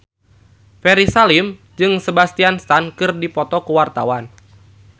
Ferry Salim jeung Sebastian Stan keur dipoto ku wartawan